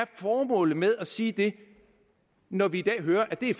formålet med at sige det når vi i dag hører at det